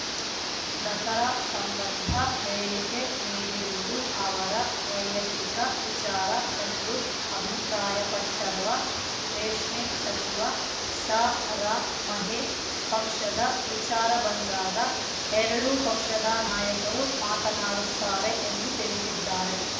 ದಸರಾ ಸಂಬಂಧ ಹೇಳಿಕೆ ನೀಡಿರುವುದು ಅವರ ವೈಯಕ್ತಿಕ ವಿಚಾರ ಎಂದು ಅಭಿಪ್ರಾಯಪಟ್ಟರವ ರೇಷ್ಮೆ ಸಚಿವ ಸಾರಾ ಮಹೇಶ್‌ ಪಕ್ಷದ ವಿಚಾರ ಬಂದಾಗ ಎರಡೂ ಪಕ್ಷದ ನಾಯಕರು ಮಾತನಾಡುತ್ತಾರೆ ಎಂದು ತಿಳಿಸಿದ್ದಾರೆ